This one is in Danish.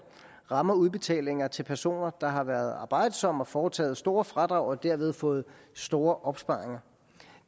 rammer udbetalinger til personer der har været arbejdsomme og foretaget store fradrag og derved fået store opsparinger